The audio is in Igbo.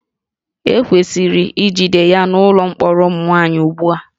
E kwesịrị ijide ya n'ụlọ mkpọrọ ụmụ nwaanyị ugbu a